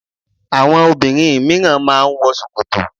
Àwọn obìnrin míràn má a n wọ sòkòtò